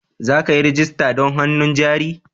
Za ka yi rajista don hannun jari?